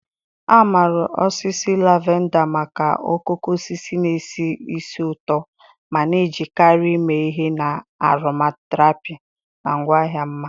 A maara osisi lavender maka okooko osisi na-esi ísì ụtọ ma na-ejikarị eme ihe na aromatherapy na ngwaahịa mma.